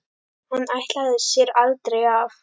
Hann ætlaði sér aldrei af.